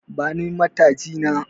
Bani mataji na